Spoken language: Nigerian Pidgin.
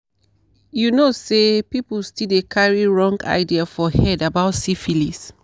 you know say people still dey carry wrong idea for head about syphilis